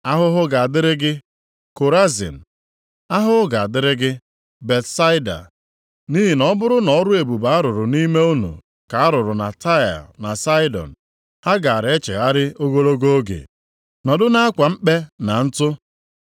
“Ahụhụ ga-adịrị gị Korazin. Ahụhụ ga-adịrị gị Betsaida. Nʼihi na ọ bụrụ na ọrụ ebube a rụrụ nʼime unu ka a rụrụ na Taịa na Saịdọn ha gaara echegharị ogologo oge, nọdụ nʼakwa mkpe na ntụ.